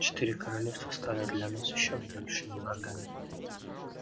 четыре королевства стали для нас ещё большими врагами